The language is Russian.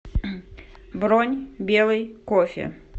бронь белый кофе